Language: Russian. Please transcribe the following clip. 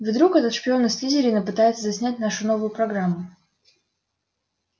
вдруг этот шпион из слизерина пытается заснять нашу новую программу